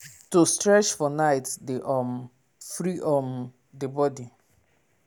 to stretch for night dey um free um the body.